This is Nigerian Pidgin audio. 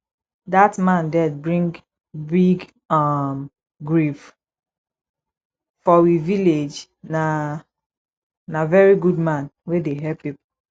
dat man death bring big um grief for we village na na very good man wey dey help pipo